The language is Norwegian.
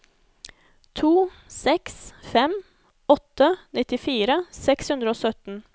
to seks fem åtte nittifire seks hundre og sytten